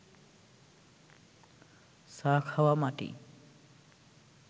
চা খাওয়া মাটি